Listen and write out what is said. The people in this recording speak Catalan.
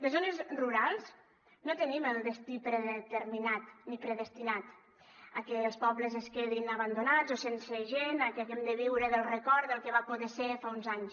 les zones rurals no tenim el destí predeterminat ni predestinat a que els pobles es quedin abandonats o sense gent a que aquí hem de viure del record del que va poder ser fa uns anys